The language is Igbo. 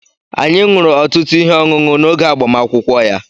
Anyị ṅụrụ ọtụtụ ihe ọṅụṅụ n'oge agbamakwụkwọ ya.